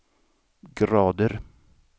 grader